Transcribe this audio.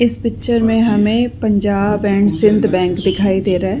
इस पिक्चर में हमें पंजाब एंड सिंध बैंक दिखाई दे रहा है।